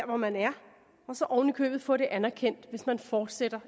hvor man er og så oven i købet få det anerkendt hvis man fortsætter